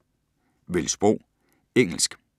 Vælg sprog: engelsk